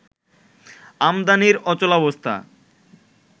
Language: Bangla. আমদানির অচলাবস্থা